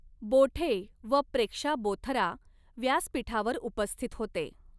बोठे व प्रेक्षा बोथरा व्यासपीठावर उपस्थित होते.